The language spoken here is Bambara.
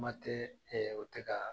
Kuma tɛ o tɛ ka